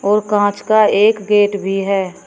और कांच का एक गेट भी है।